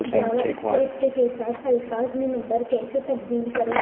جاوا script کے ساتھ الفاظ میں نمبر کیسے تبدیل کریں